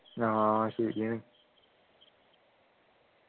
ആഹ് ശരിയാണ്